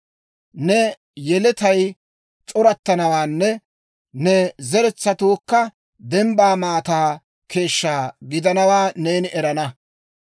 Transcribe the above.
Ne yeletay c'orattanawaanne ne zeretsatuukka dembbaa maataa keeshshaa gidanawaa neeni erana.